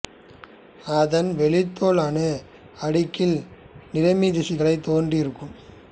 அதன் வெளித்தோல் அணு அடுக்கில் நிறமித் திசுக்கள் தோன்றி இருக்கும்